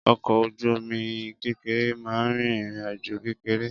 Ọkọ̀ ojú-omi kékeré máa ń rìn ìrìnàjò kékeré